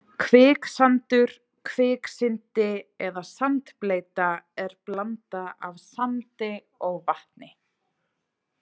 Kviksandur, kviksyndi eða sandbleyta er blanda af sandi og vatni.